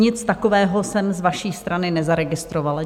Nic takového jsem z vaší strany nezaregistrovala.